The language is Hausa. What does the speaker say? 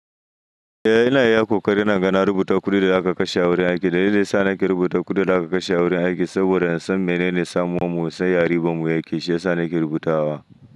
Eh ina iya kokarin naga na rubuta kuɗin da aka kashe a wurin aiki, dalilin sa nake rubuta kuɗin da aka kashe a wurin aiki saboda in san menene samuwan mu, san ya riban mu yake, shi yasa nake rubutawa.